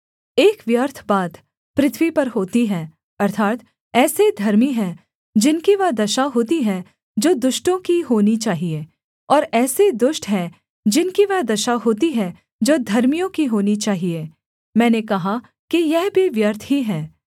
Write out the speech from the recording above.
एक व्यर्थ बात पृथ्वी पर होती है अर्थात् ऐसे धर्मी हैं जिनकी वह दशा होती है जो दुष्टों की होनी चाहिये और ऐसे दुष्ट हैं जिनकी वह दशा होती है जो धर्मियों की होनी चाहिये मैंने कहा कि यह भी व्यर्थ ही है